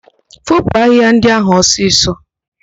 Foopu ahịhịa ndị ahụ ọsịsọ!